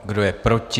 Kdo je proti?